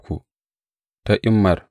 Ga zuriyar Lawiyawa.